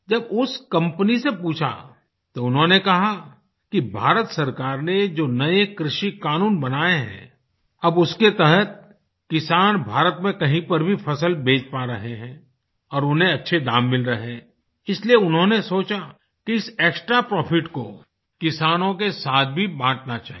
जब उस कंपनी से पूछा तो उन्होंने कहा कि भारत सरकार ने जो नये कृषि क़ानून बनाये हैं अब उसके तहत किसान भारत में कहीं पर भी फ़सल बेच पा रहे हैं और उन्हें अच्छे दाम मिल रहे हैं इसलिये उन्होंने सोचा कि इस एक्सट्रा प्रॉफिट को किसानों के साथ भी बाँटना चाहिये